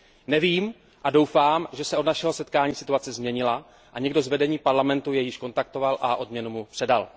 Nevím a doufám, že se od našeho setkání situace změnila a někdo z vedení Parlamentu jej již kontaktoval a odměnu mu předal.